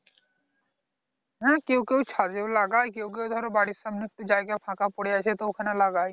হ্যাঁ কেউ কেউ ছাদেও লাগায় কেউ কেউ ধরো বাড়ির সামনে একটু জায়গা ফাঁকা পরে আছে তো ওখানে লাগায়